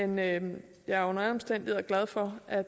men jeg er under alle omstændigheder glad for at